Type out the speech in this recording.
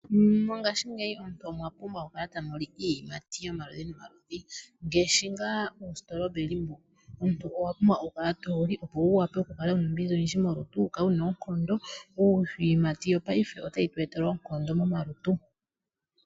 Mongashingeyi aantu oya pumbwa oku kala taya li iiyimati yomaludhi nomaludhi ngaashi ngaashi ngaa oostrawberry. Iiyimati yopaife otayi tu etele oonkondo momalutu.